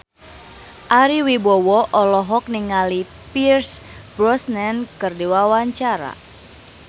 Ari Wibowo olohok ningali Pierce Brosnan keur diwawancara